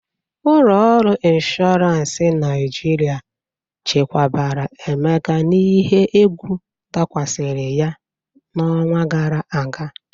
Ụlọ ọrụ ịnshọransị Naịjirịa chekwabara Emeka n'ihe egwu dakwasịrị ya n'ọnwa gara aga.